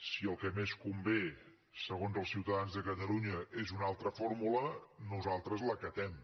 si el que més convé segons els ciutadans de catalunya és una altra fórmula nosaltres l’acatem